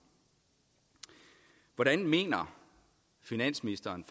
hvordan mener finansministeren